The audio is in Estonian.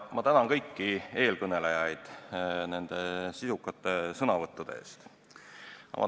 Ma tänan kõiki eelkõnelejaid sisukate sõnavõttude eest!